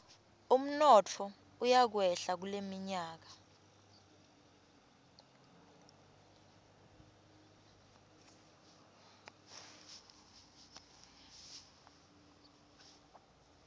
umnotfo utakwehla kuleminyaka